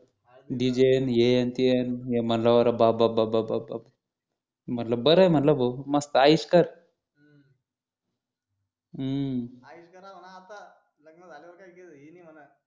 D. J हें न ते मी म्हटलं अरे बाप बाप बाप म्हटलं बरंय म्हटलं भो मस्त येश कर हम्म येश करा म्हणा आता लग्न झाल्यावर काही हे नि म्हणा